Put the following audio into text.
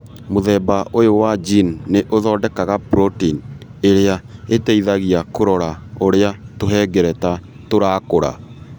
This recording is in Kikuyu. Mũthemba ũyũ wa gene nĩ ũthondekaga protein ĩrĩa ĩteithagia kũrora ũrĩa tũhengereta tũrakũra.